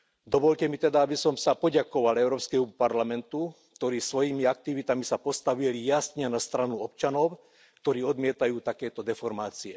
Dovoľte mi teda, aby som sa poďakoval Európskemu parlamentu, ktorý sa svojimi aktivitami postavil jasne na stranu občanov, ktorí odmietajú takéto deformácie.